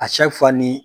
ni